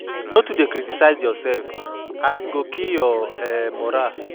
No dey too criticize urself as e go kill ur um moral